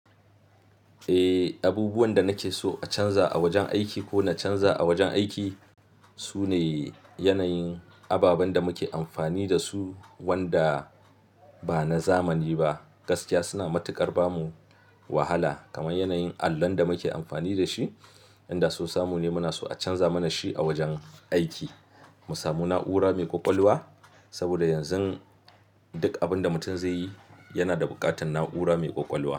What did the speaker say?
Abubuwan da nake so a canza a wajen aiki ko na canza a wajen aiki su ne yanayin ababen da muke amfani da su, wanda ba na zamani ba. Gaskiya suna matuƙar ba mu wahala, kamar yanayin allon da muke amfani da shi, inda so samu ne muna so a canza mana shi a wajen aiki mu samu na'ura mai ƙwaƙwalwa. Saboda yanzu duk abin da mutum zai yi yana da buƙatar na'ura mai ƙwaƙwalwa.